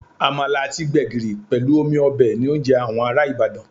Àmàlà àti gbẹ̀gìrì pẹ̀lú omi ọbẹ̀ ni oúnjẹ àwọn ará Ibadan